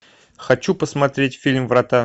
хочу посмотреть фильм врата